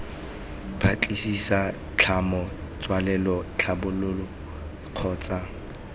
batlisisa tlhomo tswelelo tlhabololo kgotsa